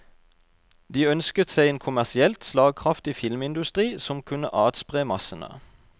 De ønsket seg en kommersielt slagkraftig filmindustri som kunne atspre massene.